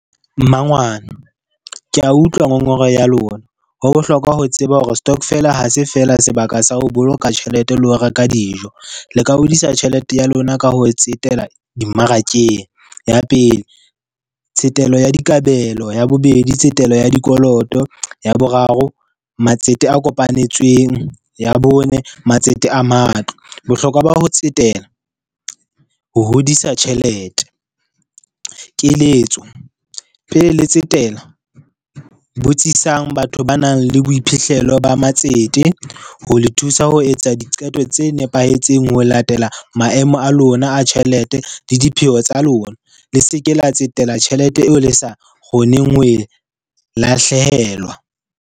Mmangwane ke a utlwa ngongoreho ya lona. Ho bohlokwa ho tseba hore stokvel ha se feela sebaka sa ho boloka tjhelete le ho reka dijo, le ka hodisa tjhelete ya lona ka ho tsetela dimmarakeng. Ya pele tsetelo ya dikabelo, ya bobedi tsetelo ya dikoloto, ya boraro matsete a kopanetsweng, ya bone matsete a matlo, bohlokwa ba ho tsetela, ho hodisa tjhelete. Keletso, pele le tsetela botsisang batho ba nang le boiphihlelo ba matsete ho le thusa ho etsa diqeto tse nepahetseng, ho latela maemo a lona a tjhelete le dipheo tsa lona, le se ke la tsetela tjhelete eo le sa kgoneng ho e lahlehelwa.